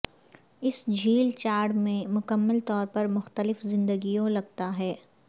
اس جھیل چاڈ میں مکمل طور پر مختلف زندگیوں لگتا ہے